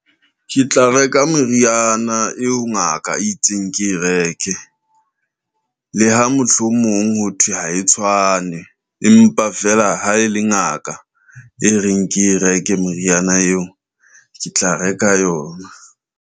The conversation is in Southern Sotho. Ke tla reka meriana eo ngaka e itseng ke e reke le ha mohlomong ho thwe ha e tshwane, empa feela ha e le ngaka e reng ke e reke moriana eo ke tla reka yona.